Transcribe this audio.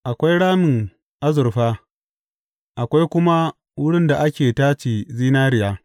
Akwai ramin azurfa akwai kuma wurin da ake tace zinariya.